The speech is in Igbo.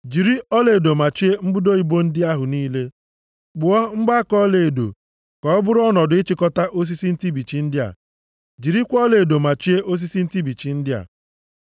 Jiri ọlaedo machie mbudo ibo ndị ahụ niile, kpụọ mgbaaka ọlaedo ka ọ bụrụ ọnọdụ ịchịkọta osisi ntụbichi ndị a. Jirikwa ọlaedo machie osisi ntụbichi ndị a.